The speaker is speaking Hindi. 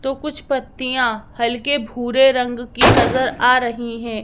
तो कुछ पत्तियां हल्के भूरे रंग की नजर आ रही है।